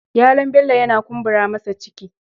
Yalon bello yana kumbura masa ciki.